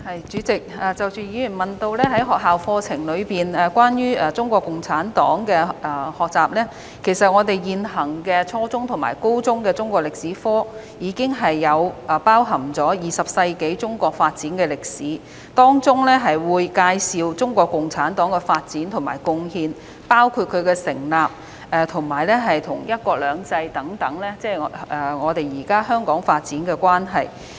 主席，議員問及學校課程中有關中國共產黨的學習，其實現行初中和高中的中國歷史科課程，已包含20世紀中國發展的歷史，當中會介紹中國共產黨的發展和貢獻，包括該黨的成立及在"一國兩制"下與現今香港發展的關係。